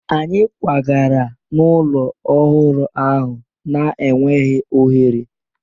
Anyị kwagara n'ụlọ ọhụrụ ahụ na-enweghị oghere